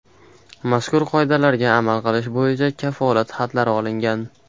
Mazkur qoidalarga amal qilish bo‘yicha kafolat xatlari olingan.